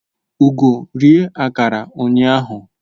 Ugo rie akara ụnyaahụ